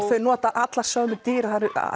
þau nota allar sömu dyr